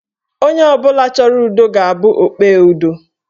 Onye ọbụla chọrọ ụdọ ga-abụ okpe ụdọ.